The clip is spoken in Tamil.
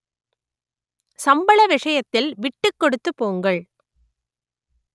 சம்பள விஷயத்தில் விட்டுக் கொடுத்து போங்கள்